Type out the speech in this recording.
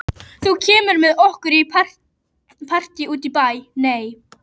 Þú kemur með okkur í partí út í bæ.